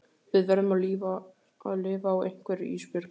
Við verðum að lifa á einhverju Ísbjörg.